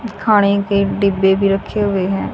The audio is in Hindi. खाने के डिब्बे भी रखे हुए हैं।